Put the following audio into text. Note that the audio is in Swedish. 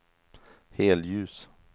helljus